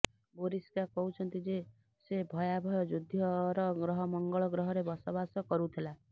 Boriska କହୁଛନ୍ତି ଯେ ସେ ଭୟାଭୟ ଯୁଦ୍ଧର ଗ୍ରହ ମଙ୍ଗଳ ଗ୍ରହରେ ବସବାସ କରୁଥିଲା